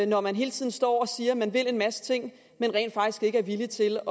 når man hele tiden står og siger at man vil en masse ting men rent faktisk ikke er villig til